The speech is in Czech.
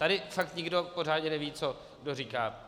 Tady fakt nikdo pořádně neví, co kdo říká.